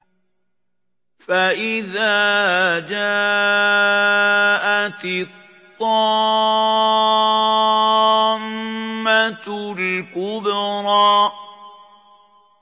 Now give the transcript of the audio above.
فَإِذَا جَاءَتِ الطَّامَّةُ الْكُبْرَىٰ